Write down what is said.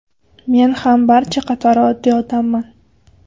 Men ham barcha qatori oddiy odamman.